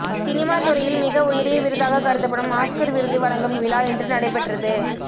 cinema துறையில் மிக உயரிய விருதாக கருதப்படும் ஆஸ்கர் விருது வழங்கும் விழா இன்று நடைபெற்றது